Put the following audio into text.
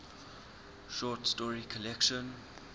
short story collection